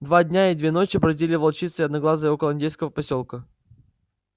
два дня и две ночи бродили волчица и одноглазый около индейского посёлка